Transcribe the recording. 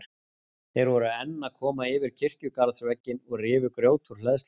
Þeir voru enn að koma yfir kirkjugarðsvegginn og rifu grjót úr hleðslunni.